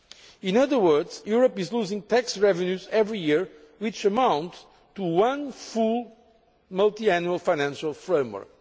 In other words, Europe is losing tax revenues every year which amount to one full multiannual financial framework.